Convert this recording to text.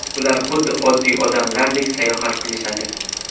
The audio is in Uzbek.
Ular xuddi oddiy odamlardek sayohat qilishadi!